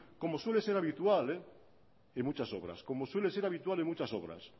como suele ser habitual en muchas obras como suele ser habitual en muchas obras